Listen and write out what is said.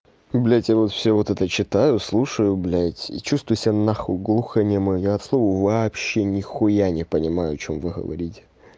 блять я вот всё вот это читаю слушаю блять и чувствую себя на х глухонемой от слова вообще не хуя не понимаю о чём вы говорите